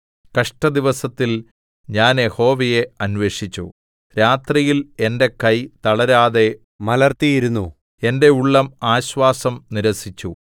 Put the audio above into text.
കഷ്ടദിവസത്തിൽ ഞാൻ യഹോവയെ അന്വേഷിച്ചു രാത്രിയിൽ എന്റെ കൈ തളരാതെ മലർത്തിയിരുന്നു എന്റെ ഉള്ളം ആശ്വാസം നിരസിച്ചു